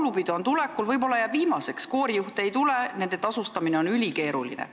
Laulupidu on tulekul, võib-olla see jääb viimaseks – koorijuhte juurde ei tule, sest nende tasustamine on ülikeeruline.